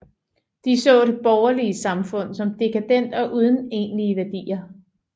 De så det borgerlige samfund som dekadent og uden egentlige værdier